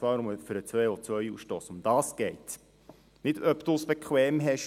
Dies in Bezug auf den CO-Ausstoss, und um das geht es, und nicht darum, ob man es bequem hat.